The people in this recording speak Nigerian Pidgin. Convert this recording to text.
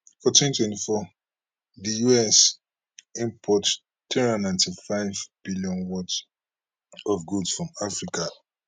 for 2024 di us import three hundred and ninety five billion worth of goods from africa